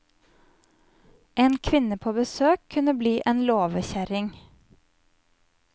En kvinne på besøk kunne bli en låvekjerring.